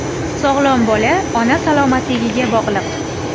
Sog‘lom bola ona salomatligiga bog‘liq.